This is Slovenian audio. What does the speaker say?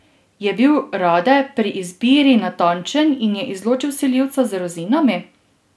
Je bil Rade pri izbiri natančen in je izločil vsiljivca z rozinami?